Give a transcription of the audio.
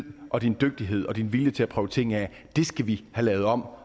og din dygtighed og din vilje til at prøve ting af skal vi have lavet om